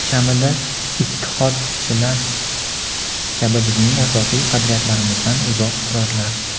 kamida "Ittihod"chilar kabi bizning asosiy qadriyatlarimizdan uzoq turarlar.